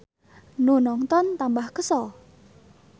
Nu nongton tambah kesel.